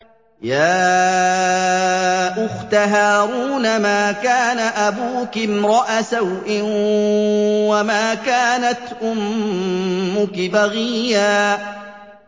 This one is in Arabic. يَا أُخْتَ هَارُونَ مَا كَانَ أَبُوكِ امْرَأَ سَوْءٍ وَمَا كَانَتْ أُمُّكِ بَغِيًّا